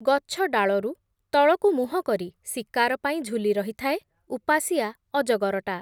ଗଛଡାଳରୁ, ତଳକୁ ମୁହଁକରି ଶିକାର ପାଇଁ ଝୁଲି ରହିଥାଏ, ଉପାସିଆ ଅଜଗରଟା ।